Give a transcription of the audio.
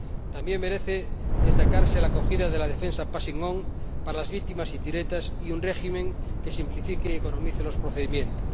También merece destacarse la acogida de la defensa passing on para las víctimas indirectas y un régimen que simplifique y economice los procedimientos.